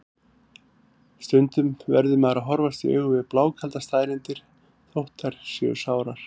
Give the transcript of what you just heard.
Stundum verður maður að horfast í augu við blákaldar staðreyndir, þótt þær séu sárar.